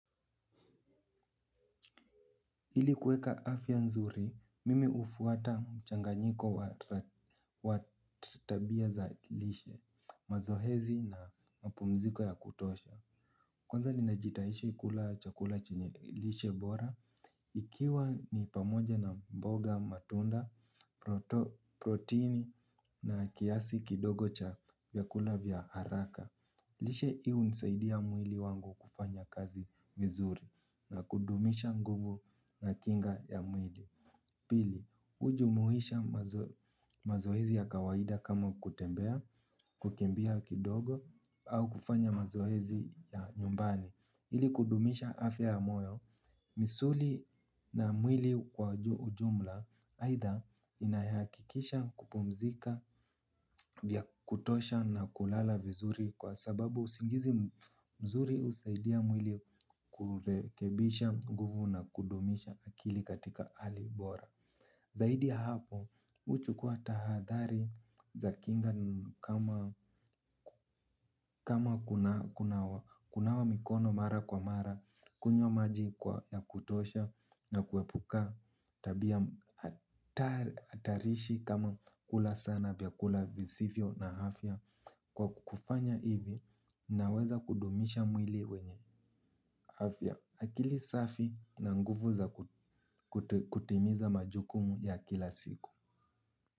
Ili kuweka afya nzuri, mimi hufuata mchanganyiko wa tabia za lishe, mazoezi na mapumziko ya kutosha. Kwanza ninajitaishi kula chakula chenye lishe bora. Ikiwa ni pamoja na mboga matunda, protini na kiasi kidogo cha vyakula vya haraka. Lishe hii hunisaidia mwili wangu kufanya kazi vizuri na kudumisha nguvu na kinga ya mwili. Pili, hujumuisha mazoezi ya kawaida kama kutembea, kukimbia kidogo au kufanya mazoezi ya nyumbani. Ili kudumisha afya ya moyo, misuli na mwili kwa ujumla aidha inayahakikisha kupumzika vya kutosha na kulala vizuri kwa sababu usingizi mzuri husaidia mwili kurekebisha nguvu na kudumisha akili katika hali bora. Zaidi ya hapo, huchukua tahadhari za kinga kama kunawa mikono mara kwa mara, kunywa maji kwa ya kutosha na kuepuka, tabia hatarishi kama kula sana vyakula visivyo na afya. Kwa kukufanya hivi, naweza kudumisha mwili wenye afya akili safi na nguvu za kutimiza majukumu ya kila siku.